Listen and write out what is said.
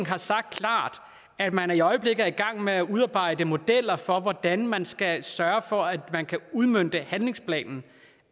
har sagt at man i øjeblikket er i gang med at udarbejde modeller for hvordan man skal sørge for at man kan udmønte handlingsplanen